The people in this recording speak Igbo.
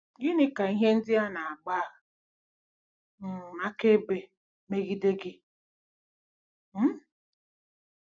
Gịnị ka ihe ndị a na-agba um akaebe megide gị? um